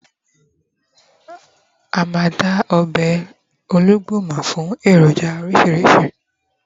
a ma da ọbè olugbu mọ fún eroja orísirísi